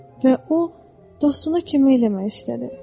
Və o dostuna kömək eləmək istədi.